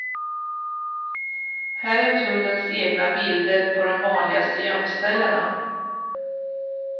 Här är tullens egna bilder på de vanligaste gömställena.